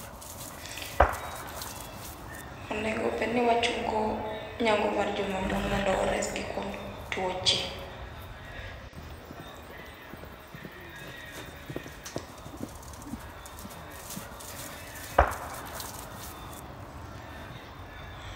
Onego bedni wachungo nyangu mar joma mon mondo waresgi kuom tuoche.